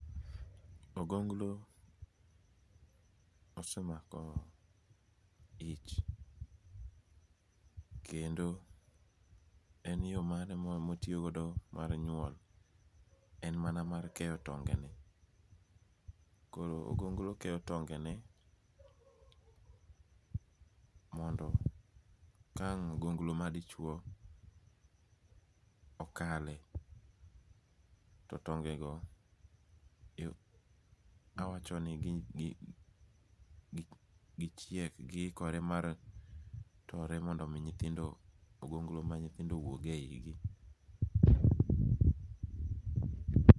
Ogoglo osemako ich kendo en yo mane motiyogo mar nyuol, en mana mar keyo tonge'ne, koro ogoglo keyo tonge'ne mondo ka ang' ogoglo madichuo okale to tongego awachoni gichiek gihikore mar tore mondo ogoglo ma nyithindo owuoge higi.